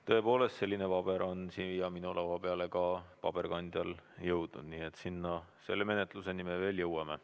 Tõepoolest, selline paber on siia minu laua peale ka paberkandjal jõudnud, nii et selle menetluseni me veel jõuame.